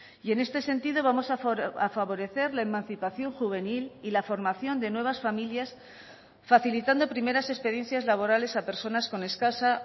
y en este sentido vamos a favorecer la emancipación juvenil y la formación de nuevas familias facilitando primeras experiencias laborales a personas con escasa